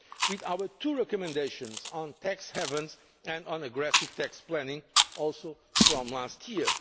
and with our two recommendations on tax havens and on aggressive tax planning, also from last